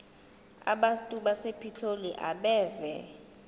abantu basepitoli abeve